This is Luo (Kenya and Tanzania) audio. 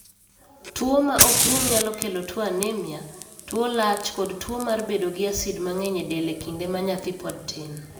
Tuwo ma ok rum nyalo kelo tuo anemia, tuo lach kod tuo mar bedo gi asid mang'eny e del e kinde ma nyathi pod tin.